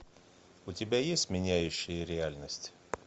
у тебя есть меняющие реальность